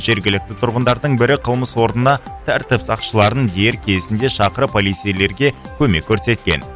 жергілікті тұрғындардың бірі қылмыс орнына тәртіп сақшыларын дер кезінде шақырып полицейлерге көмек көрсеткен